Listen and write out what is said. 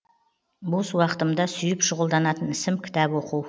бос уақытымда сүйіп шұғылданатын ісім кітап оқу